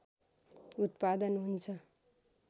उत्‍पादन हुन्छ